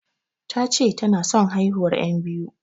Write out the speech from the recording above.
Tace tana son haihuwar yan biyu